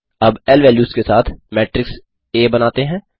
अब ल वैल्यूज़ के साथ आ मेट्रिक्स Aबनाते हैं